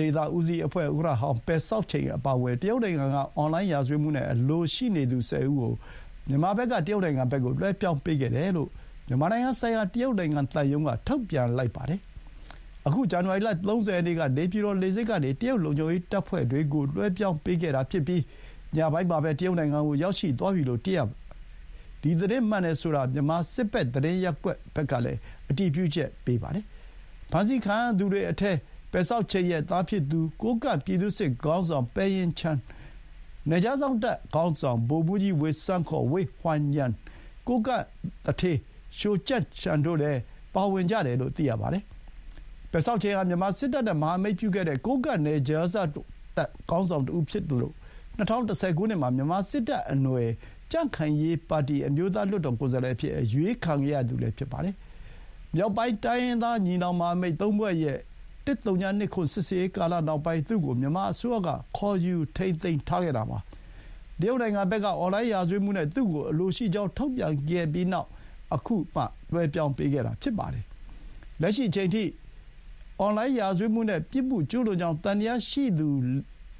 ဒေသဦးစီးအဖွဲ့ ဥက္ကဋ္ဌဟောင်း ပယ်ဆောက်ချိန်အပါအဝင် တရုတ်နိုင်ငံက အွန်လိုင်းရာဇဝတ်မှုနဲ့အလိုရှိနေသူ ၁၀ ဦးကို မြန်မာဘက်က တရုတ်နိုင်ငံကို လွှဲပြောင်းပေးခဲ့တယ်လို့ မြန်မာနိုင်ငံဆိုင်ရာတရုတ်နိုင်ငံသံရုံးက ထုတ်ပြန်ခဲ့ပါတယ်။ အခု ဇန်နဝါရီလ ၃၀ ရက်နေ့က နေပြည်တော်လေဆိပ်ကနေ တရုတ်လုံခြုံရေးတပ်ဖွဲ့တွေကို လွှဲပြောင်းပေးခဲ့တာဖြစ်ပြီး ညပိုင်းမှာပဲ တရုတ်နိုင်ငံကို ရောက်ရှိသွားပြီလို့ သိရပါတယ်။ ဒီသတင်းမှန်တယ်ဆိုတာ မြန်မာစစ်ဖက်သတင်းရပ်ကွက်ကလည်း အတည်ပြုချက်ရပါတယ်။ ဖမ်းဆီးခံရသူတွေထဲ ပယ်ဆောက်ချိန်ရဲ့သားဖြစ်သူ ကိုးကန့်ပြည်သူ့စစ်ခေါင်းဆောင် ပယ်ရင်ချန်၊ နယ်ခြားစောင့်တပ်ခေါင်းဆောင် ဗိုလ်မှူးကြီးဝေဆန်း ခေါ် ဝေ့ဟွိုင်ရန်၊ ကိုးကန့်သူဌေးလျိုကျန့်ရှန်တို့လည်း ပါဝင်တယ်လို့ သိရပါတယ်။ ပယ်ဆောက်ချိန်ဟာ မြန်မာစစ်တပ်နဲ့ မဟာမိတ်ပြုခဲ့တဲ့ ကိုးကန့်နယ်ခြားစောင့်တပ်ခေါင်းဆောင်တဦးလည်းဖြစ်သလို ၂၀၁၀ ခုနှစ်မှာ မြန်မာစစ်တပ်အနွယ် ကြံခိုင်ရေးပါတီ အမျိုးသားလွှတ်တော်ကိုယ်စားလှယ်အဖြစ် အရွေးခံခဲ့ရသူလည်းဖြစ်ပါတယ်။ မြောက်ပိုင်းတိုင်းရင်းသား ညီနောင်မဟာမိတ်သုံးဖွဲ့ရဲ့ ၁၀၂၇ စစ်ဆင်ရေးကာလနောက်ပိုင်း သူ့ကို မြန်မာအစိုးရက ခေါ်ယူထိန်းသိမ်းခဲ့တာပါ။ တရုတ်နိုင်ငံဘက်က အွန်လိုင်းရာဇဝတ်မှုနဲ့ သူ့ကိုအလိုရှိကြောင်းထုတ်ပြန်ခဲ့ပြီးနောက် အခုမှ လွှဲပြောင်းပေးခဲ့တာဖြစ်ပါတယ်။ လက်ရှိအချိန်အထိဆိုရင် အွန်လိုင်းရာဇဝတ်မှုနဲ့ ပြစ်မှုကျူးလွန်ကြောင်းသံသယရှိသူ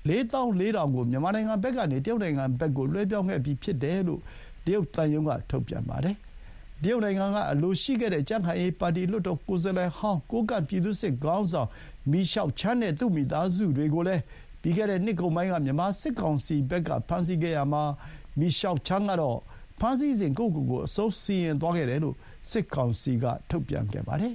လေးသောင်း လေးထောင်ကို မြန်မာနိုင်ငံဘက်ကနေ တရုတ်နိုင်ငံကို လွှဲပြောင်းခဲ့ပြီးဖြစ်တယ်လို့ တရုတ်သံရုံးက ထုတ်ပြန်ပါတယ်။ တရုတ်နိုင်ငံကအလိုရှိခဲ့တဲ့ ကြံ့ခိုင်ရေးပါတီ လွှတ်တော်ကိုယ်စားလှယ်ဟောင်း ကိုးကန့်ပြည်သူ့စစ်ခေါင်းဆောင် မြီရှောက်ချန်းနဲ့ သူ့မိသားစုတွေကိုလည်း ပြီးခဲ့တဲ့နှစ်ကုန်ပိုင်းက မြန်မာစစ်ကောင်စီဘက်ကဖမ်းဆီးခဲ့ရာမှာ မြီရှောက်ချန်းကတော့ ဖမ်းဆီးစဉ် ကိုယ့်ကိုကိုယ် အဆုံးစီရင်သွားခဲ့တယ်လို့ စစ်ကောင်စီက ထုတ်ပြန်ခဲ့ပါတယ်